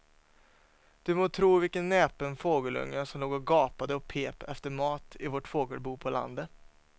Du må tro vilken näpen fågelunge som låg och gapade och pep efter mat i vårt fågelbo på landet.